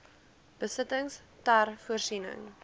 besittings ter voorsiening